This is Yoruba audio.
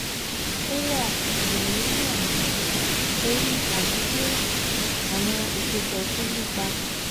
O wa wa lori awọ ori ati pe awọn isopọ tun ni ipa